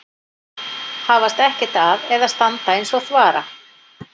Hafast ekkert að eða standa eins og þvara.